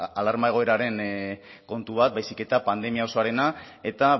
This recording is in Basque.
alarma egoeraren kontu bat baizik eta pandemia osoarena eta